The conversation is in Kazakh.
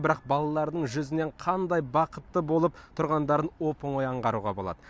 бірақ балалардың жүзінен қандай бақытты болып тұрғандарын оп оңай аңғаруға болады